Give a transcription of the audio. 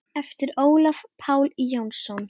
eftir Ólaf Pál Jónsson